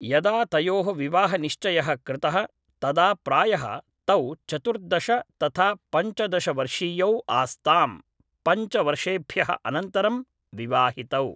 यदा तयोः विवाहनिश्चयः कृतः तदा प्रायः तौ चतुर्दश तथा पञ्चदश वर्षीयौ आस्ताम् पञ्चवर्षेभ्यः अनन्तरं विवाहितौ